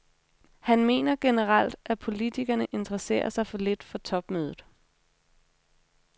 Han mener generelt, at politikerne interesserer sig for lidt for topmødet.